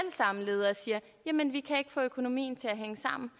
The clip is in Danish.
samme ledere siger jamen vi kan ikke få økonomien til at hænge sammen